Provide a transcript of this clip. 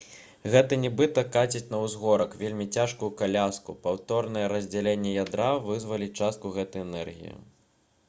гэта нібыта каціць на ўзгорак вельмі цяжкую каляску паўторнае раздзяленне ядра вызваліць частку гэтай энергіі